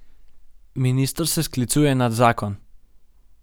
Minister se sklicuje na zakon.